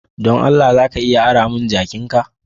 Dan Allah, za ka iya ara mun jakin'ka?